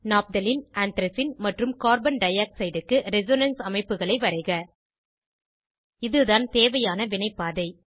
naphthalene anthracene மற்றும் carbon dioxide க்கு resonance அமைப்புகளை வரைக இதுதான் தேவையான வினைப்பாதை